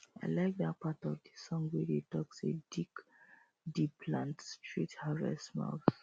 i like dat part of the song wey dey talk say dig deep plant straight harvest smiles